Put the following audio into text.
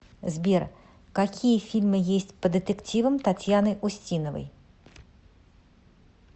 сбер какие фильмы есть по детективам татьяны устиновои